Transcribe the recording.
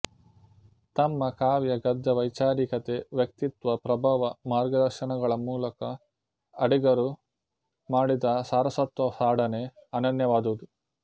ತಮ್ಮ ಕಾವ್ಯ ಗದ್ಯ ವೈಚಾರಿಕತೆ ವ್ಯಕ್ತಿತ್ವ ಪ್ರಭಾವ ಮಾರ್ಗದರ್ಶನಗಳ ಮೂಲಕ ಅಡಿಗರು ಮಾಡಿದ ಸಾರಸ್ವತ ಸಾಡನೆ ಅನನ್ಯವಾದುದು